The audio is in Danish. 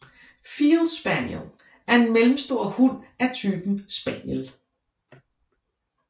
Field Spaniel er en mellemstor hund af typen spaniel